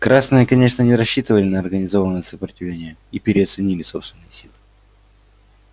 красные конечно не рассчитывали на организованное сопротивление и переоценили собственные силы